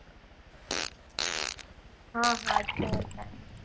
હા હા છે જ ટાઇમ